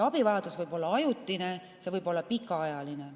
Abivajadus võib olla ajutine, see võib-olla pikaajaline.